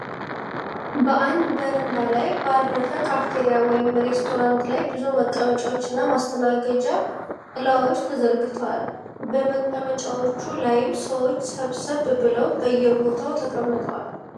በአንድ በረንዳ ላይ ባረፈ ካፍቴሪያ ወይም ሬስቶራንት ላይ ብዙ መቀመጫዎች እና ማስተናገጃ ጥላዎች ተዘርግተዋል። በመቀመጫዎቹ ላይም ሰዎች ሰብሰብ ብለው በየቦታው ተቀምጠዋል።